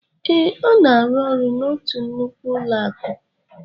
Ee, Ọ na-arụ ọrụ n'otu nnukwu ụlọakụ